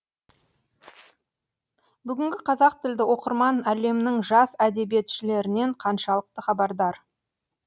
бүгінгі қазақ тілді оқырман әлемнің жас әдебиетшілерінен қаншалықты хабардар